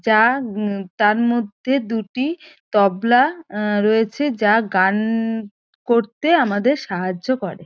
যা হুম তার মধ্যে দুটি তবলা এ রয়েছে যা গানন-ন-ন করতে আমাদের সাহায্য করে।